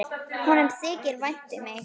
Honum þykir vænt um mig.